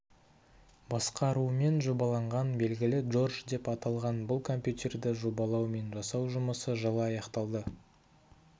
басқаруымен жобаланған белгілі джордж деп аталған бұл компьютерді жобалау мен жасау жұмысы жылы аяқталды